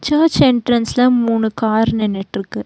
Search என்ட்ரன்ஸ்ல மூணு car நின்னுட்டுருக்கு.